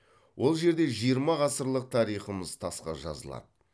ол жерде жиырма ғасырлық тарихымыз тасқа жазылады